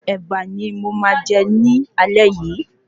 Èbà ni mo máa jẹ ní aalé yìí